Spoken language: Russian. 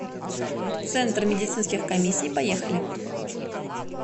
центр медицинских комиссий поехали